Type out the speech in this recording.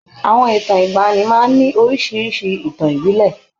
Àwọn ìtàn ìgbaanì máa ń ní oríṣiríṣi ìtàn ìbílẹ̀.